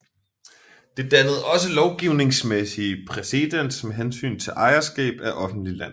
Det dannede også lovgivningsmæssig præcedens med hensyn til ejerskab af offentlig land